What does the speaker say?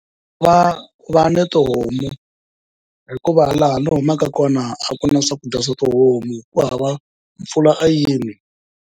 Va va na tihomu hikuva laha ni humaka kona a ku na swakudya swa tihomu ku hava mpfula a yini.